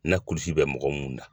Na kulisi bɛ mɔgɔ mun na